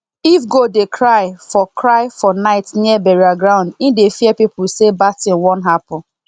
if goat dey cry for cry for night near burial ground e dey fear people say bad thing wan happen